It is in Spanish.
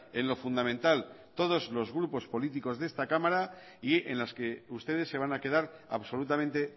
en lo fundamental todos los grupos políticos de esta cámara y en las que ustedes se van a quedar absolutamente